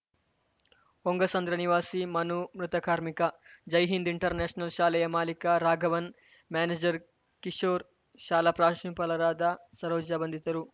ಹೊಂಗಸಂದ್ರ ನಿವಾಸಿ ಮನು ಮೃತ ಕಾರ್ಮಿಕ ಜೈ ಹಿಂದ್‌ ಇಂಟರ್‌ನ್ಯಾಶನಲ್‌ ಶಾಲೆಯ ಮಾಲೀಕ ರಾಘವನ್‌ ಮ್ಯಾನೇಜರ್‌ ಕಿಶೋರ್‌ ಶಾಲಾ ಪ್ರಾಂಶುಪಾಲರಾದ ಸರೋಜಾ ಬಂಧಿತರು